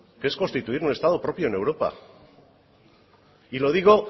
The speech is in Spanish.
que es constituir un estado propio en europa y lo digo